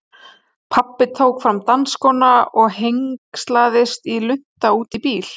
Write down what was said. Pabbi tók fram dansskóna og hengslaðist í lunta út í bíl.